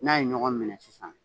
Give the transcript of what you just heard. N'a ye ɲɔgɔn minɛ sisan